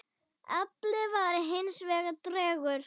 Afli var hins vegar tregur.